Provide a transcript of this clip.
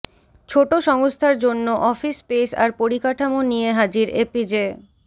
ছোট সংস্থার জন্য অফিস স্পেস আর পরিকাঠামো নিয়ে হাজির এপিজে